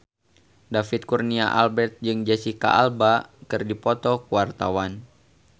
David Kurnia Albert jeung Jesicca Alba keur dipoto ku wartawan